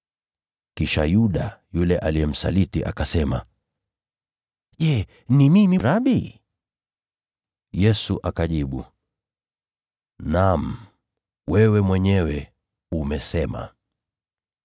Kisha Yuda, yule mwenye kumsaliti, akasema, “Je, ni mimi Rabi?” Yesu akajibu, “Naam, wewe mwenyewe umesema.”